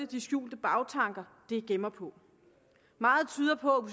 de skjulte bagtanker de gemmer på meget tyder på